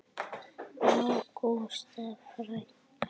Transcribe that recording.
Ágústa frænka.